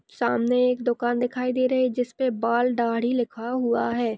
सामने एक दुकान दिखाई दे रही है जिसपे बाल दाढ़ी लिखा हुआ है।